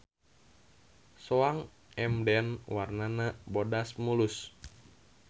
Soang Emden warnana bodas mulus.